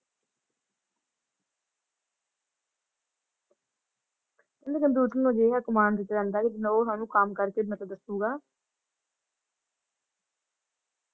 ਇਹਨੂੰ ਕੰਪਿਊਟਰ ਲਗੇਗਾ ਇਹ command ਚ ਰਹਿੰਦਾ ਇਹ ਸਾਨੂੰ ਕੰਮ ਕਰਕੇ ਮਤਲਬ ਦੱਸੂਗਾ ।